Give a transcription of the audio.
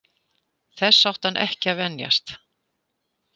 Þessu átti hann ekki að venjast.